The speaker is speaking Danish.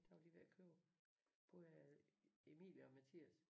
Der var de ved at købe både øh Emil og Mathias